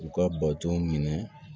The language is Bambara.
U ka bato minɛ